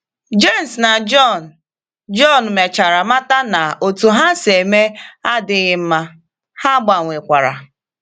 Jems na Jọn Jọn mechara mata na otú ha si eme adịghị mma, ha gbanwekwara.